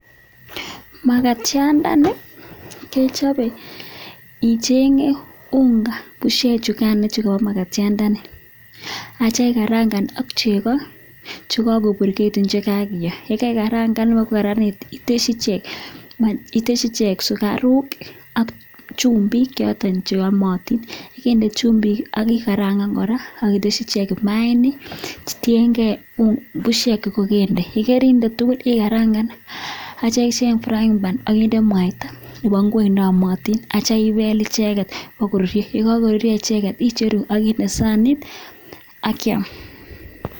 Magatiandani kechobe icheng'e unga bushek chugano chu kobo magatiandani ak kityo ikarangan ak chego che kagoburgeegitun che kakiyoo. Ye kaikarangan bagokaranit itesyi ichek sugaruk ak chumbik choto che yomotin. Ye keinde chumbik ak ikarangan kora ak itesyi ichek imaainik, tienge bushek che kogende. Ye koinde tugul ikarangan ak kityo icheng frying pan ak inde mwaita nebo ngwek ne yomotinak ityo bel icheget bokoruryo, ye kagoruryo icheget icheru ak inde sanit ak kyam.